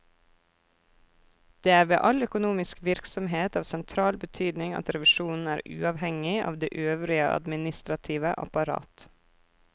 Det er ved all økonomisk virksomhet av sentral betydning at revisjonen er uavhengig av det øvrige administrative apparat.